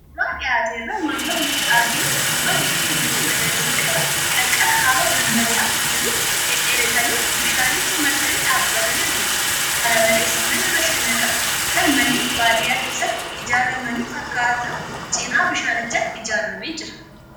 Suuraa dhiyaate irraa wantoonni nutti argaman, suuraa mukeen bifa magariisa qaban qarqara haroo dambali'aa jiruu dhedheeratanii bishaanicha marsanii dhaabbatanii argina. Kana malees mana bashannanaa kan manneen baadiyaa keessatti ijaaramanii fakkaatu cinaa bishaanichaatti ijaaramee jira.